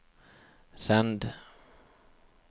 send